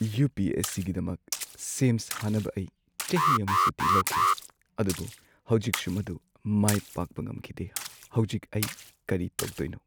U. P. S. C. ꯒꯤꯗꯃꯛ ꯁꯦꯝ ꯁꯥꯅꯕ ꯑꯩ ꯆꯍꯤ ꯑꯃ ꯁꯨꯇꯤ ꯂꯧꯈꯤ ꯑꯗꯨꯕꯨ ꯍꯧꯖꯤꯛꯁꯨ ꯃꯗꯨ ꯃꯥꯏ ꯄꯥꯛꯄ ꯉꯝꯈꯤꯗꯦ꯫ ꯍꯧꯖꯤꯛ ꯑꯩ ꯀꯔꯤ ꯇꯧꯗꯣꯏꯅꯣ?